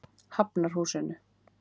Hafnarhúsinu